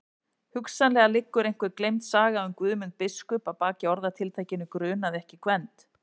Hugsanlega liggur einhver gleymd saga um Guðmund biskup að baki orðatiltækinu grunaði ekki Gvend.